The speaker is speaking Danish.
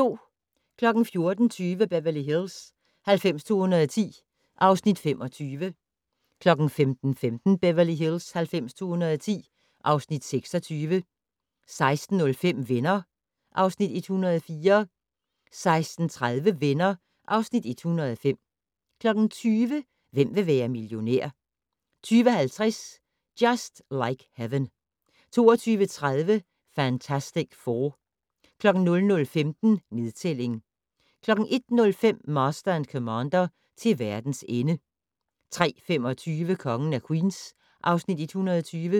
14:20: Beverly Hills 90210 (Afs. 25) 15:15: Beverly Hills 90210 (Afs. 26) 16:05: Venner (Afs. 104) 16:30: Venner (Afs. 105) 20:00: Hvem vil være millionær? 20:50: Just Like Heaven 22:30: Fantastic Four 00:15: Nedtælling 01:05: Master and Commander: Til verdens ende 03:25: Kongen af Queens (Afs. 120)